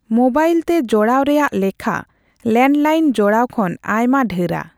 Mobile ᱛᱮ ᱡᱚᱲᱟᱣ ᱨᱮᱭᱟᱜ ᱞᱮᱠᱷᱟ ᱞᱮᱱᱰᱞᱟᱭᱤᱱ ᱡᱚᱲᱟᱣ ᱠᱷᱚᱱ ᱟᱭᱢᱟ ᱰᱷᱮᱨᱟ ᱾